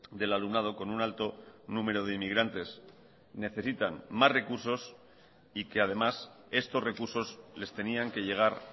del alumnado con un alto número de inmigrantes necesitan más recursos y que además estos recursos les tenían que llegar